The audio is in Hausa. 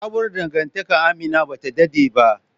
Sabuwar dangantakar Amina bata dade ba